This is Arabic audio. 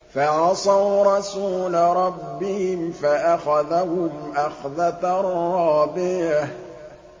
فَعَصَوْا رَسُولَ رَبِّهِمْ فَأَخَذَهُمْ أَخْذَةً رَّابِيَةً